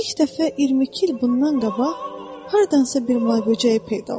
İlk dəfə 22 il bundan qabaq hardansa bir may böcəyi peyda oldu.